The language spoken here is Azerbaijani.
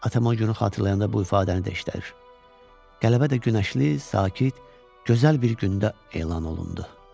Atam o günü xatırlayanda bu ifadəni də işlədir: Qələbə də günəşli, sakit, gözəl bir gündə elan olundu.